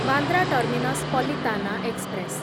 Bandra terminus Palitana express